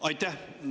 Aitäh!